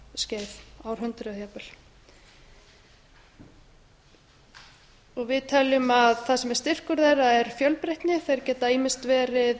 áratugaskeið árhundruð jafnvel við teljum að það sem er styrkur þeirra er fjölbreytni áhersla getur ýmist verið